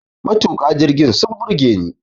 Matuka jirgin sun burge ni